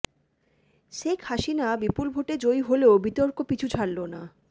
শেখ হাসিনা বিপুল ভোটে জয়ী হলেও বিতর্ক পিছু ছাড়ল না